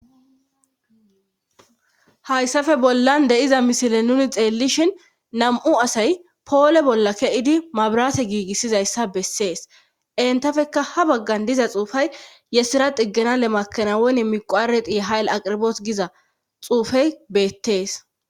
hayssafe bollan de'iza misile nuni xeellishhin nam'u asay poole bolla ke'idi mabrate giigissizayssa bessees entafeka ha baggan diza xuufay yesira xiggenale makanawonne miqoareti hayill aqirboot giza xuufey beettees